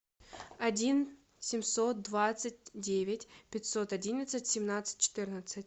один семьсот двадцать девять пятьсот одиннадцать семнадцать четырнадцать